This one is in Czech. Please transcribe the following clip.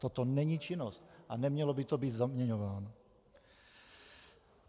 Toto není činnost a nemělo by to být zaměňováno.